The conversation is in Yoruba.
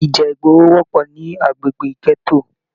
Ìjà ìgboro wọpọ ní agbègbè gẹto.